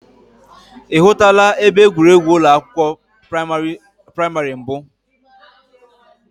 I hụtụla ebe egwuregwu ụlọ akwụkwọ praimari mbụ?